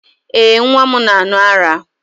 Ee, nwa m na-aṅụ ara.